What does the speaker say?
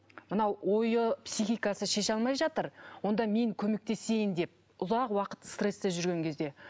мынау ойы психикасы шеше алмай жатыр онда мен көмектесейін деп ұзақ уақыт стрессте жүрген кезде